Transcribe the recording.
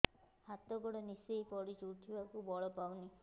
ହାତ ଗୋଡ ନିସେଇ ପଡୁଛି ଉଠିବାକୁ ବଳ ପାଉନି